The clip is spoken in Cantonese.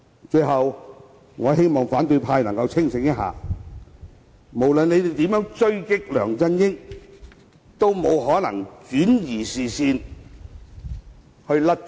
最後，我希望反對派能夠清醒一下，無論他們如何狙擊梁振英，也沒有可能轉移視線以脫罪。